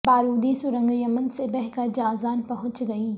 بارودی سرنگ یمن سے بہہ کر جازان پہنچ گئی